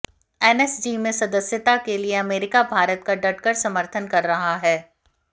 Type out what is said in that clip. NSG में सदस्यता के लिए अमेरिका भारत का डँटकर समर्थन कर रहा है